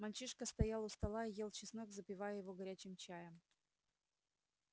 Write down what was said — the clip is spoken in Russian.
мальчишка стоял у стола и ел чеснок запивая его горячим чаем